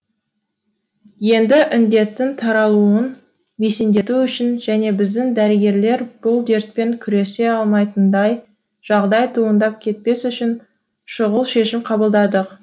енді індеттің таралуын бәсеңдету үшін және біздің дәрігерлер бұл дертпен күресе алмайтындай жағдай туындап кетпес үшін шұғыл шешім қабылдадық